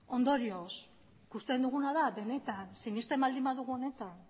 ondorioz ikusten duguna da benetan sinesten baldin badugu honetan